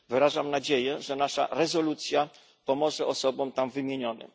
Wyrażam nadzieję, że nasza rezolucja pomoże osobom tam wymienionym.